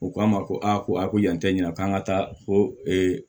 U k'a ma ko a ko a ko yan tɛ ɲina k'an ka taa fo ee